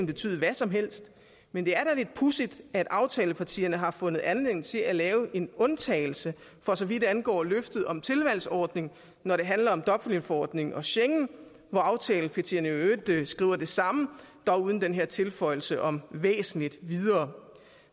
betyde hvad som helst men det er da lidt pudsigt at aftalepartierne har fundet anledning til at lave en undtagelse for så vidt angår løftet om en tilvalgsordning når det handler om dublinforordningen og schengen hvor aftalepartierne i øvrigt skriver det samme dog uden den her tilføjelse om væsentligt videre